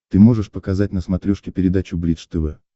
ты можешь показать на смотрешке передачу бридж тв